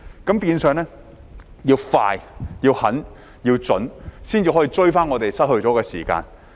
換言之，要快、狠、準，才能追回我們失去的時間。